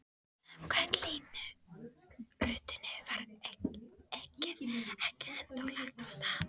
Samkvæmt línuritinu var eggið ekki ennþá lagt af stað.